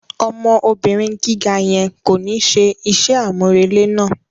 Ọmọ obìrin gíga yẹn ko ni ṣe iṣẹ amurele náà.